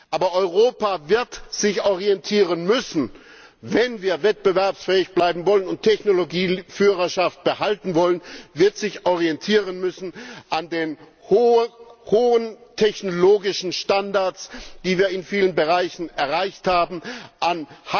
Aber Europa wird sich orientieren müssen, wenn wir wettbewerbsfähig bleiben und Technologieführerschaft behalten wollen, es wird sich orientieren müssen an den hohen technologischen Standards, die wir in vielen Bereichen erreicht haben,